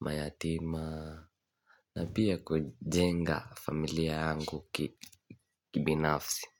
mayatima na pia kujenga familia yangu kibinafsi.